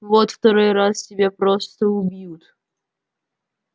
вот второй раз тебя просто убьют